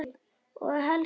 Og helst ekki selló.